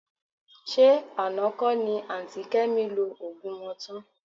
Ṣé àná kọ́ ni àǹtí Kẹ́mi lo òògùn wọn tán?